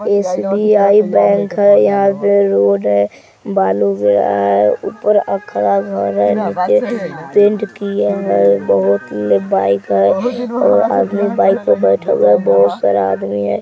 SBI bank है यहाँ पे रोड है हे ऊपर अखरा घर है पैंट किया है बहुत ही बाइक है वो आदमी बाइक पर बैठा हुआ है बहुत सारा आदमी है।